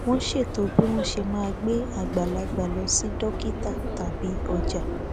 wọn ṣètò bí wọn ṣe máa gbé àgbàlagbà lọ sí dókítà tàbí ọjà